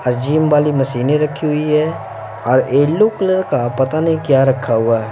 और जिम वाली मशीनें रखी हुई है और येलो कलर का पता नहीं क्या रखा हुआ है।